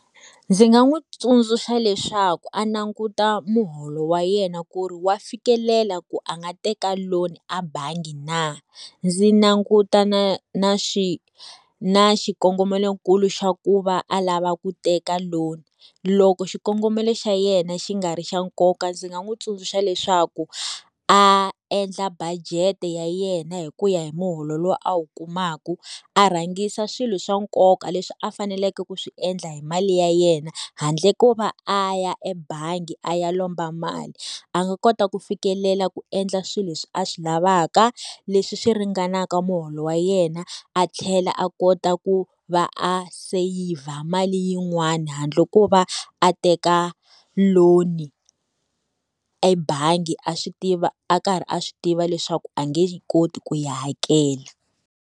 Ndzi nga n'wi tsundzuxa leswaku a languta muholo wa yena ku ri wa fikelela ku a nga teka loan-i abangi na? Ndzi languta na na na xikongomelonkulu xa ku va a lava ku teka loan. Loko xikongomelo xa yena xi nga ri xa nkoka ndzi nga n'wi tsundzuxa leswaku, a endla budget ya yena hi ku ya hi muholo loyi a wu kumaku. A rhangisa swilo swa nkoka leswi a faneleke ku swi endla hi mali ya yena, handle ko va a ya ebangi a ya lomba mali. A nga kota ku fikelela ku endla swilo leswi a swi lavaka, leswi swi ringanaka muholo wa yena, a tlhela a kota ku va a seyivha mali yin'wani handle ko va a teka loan ebangi a swi tiva a karhi a swi tiva leswaku a nge yi koti ku yi hakela.